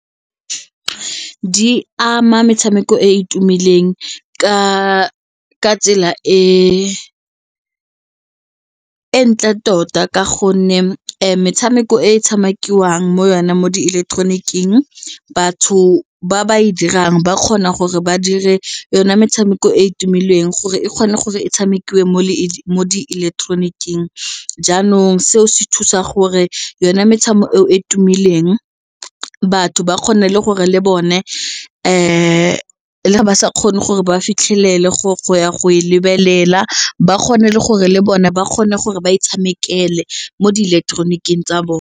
Di ama metshameko e e tumileng ka tsela e e ntle tota ka gonne metshameko e tshamekiwang mo yone mo diileketeroniking batho ba ba e dirang ba kgona gore ba dire yone metshameko e e tumileng gore e kgone gore e tshamekiwe mo diileketeroniking jaanong seo se thusa gore yone metshameko eo batho ba kgone le gore le bone ba sa kgone gore ba fitlhelele go ya go e lebelela ba kgone le gore le bone ba kgone gore ba e tshamekele mo diileketeroniki tsa bone.